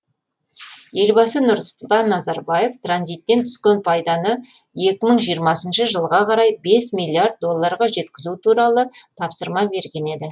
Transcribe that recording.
елбасы нұрсұлтан назарбаев транзиттен түскен пайданы екі мың жиырмасыншы жылға қарай бес миллиард долларға жеткізу туралы тапсырма берген еді